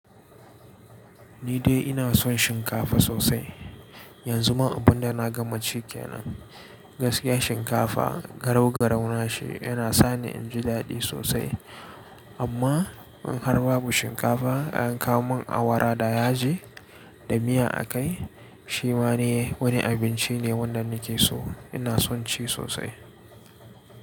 Ni dai ina son shinkafa sosai. Yanzu ma abunda na gama ci kenan gaskiya shinkafa garau garau na shi yana sani in ji daɗi sosai. Amma in har babu shinkafa a yanka mun awara da yaji da miya a kai, shi ma ne wani abinci ne wanda nake so ina son ci sosai.